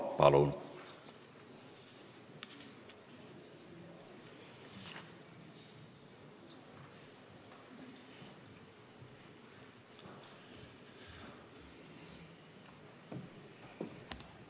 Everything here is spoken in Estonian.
Palun!